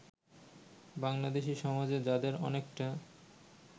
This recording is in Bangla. বাংলাদেশী সমাজে যাদের অনেকটা